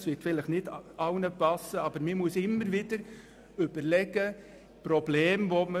Es wird nicht allen passen, was ich jetzt sage, aber man muss immer wieder überlegen, welche Probleme wir haben.